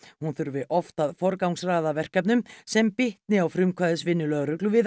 hún þurfi oft að forgangsraða verkefnum sem bitni á frumkvæðisvinnu lögreglu við